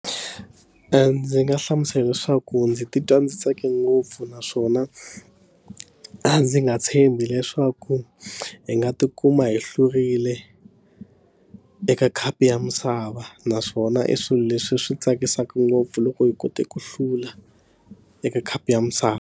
Ndzi nga hlamusela leswaku ndzi titwa ndzi tsake ngopfu naswona a ndzi nga tshembi leswaku hi nga tikuma hi hlurile eka khapu ya misava naswona i swilo leswi swi tsakisaka ngopfu loko hi kote ku hlula eka khapu ya misava.